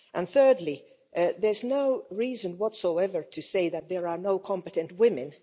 Thirdly, there's no reason whatsoever to say that there are no competent women.